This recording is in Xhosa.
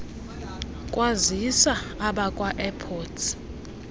kwazisa abakwa airports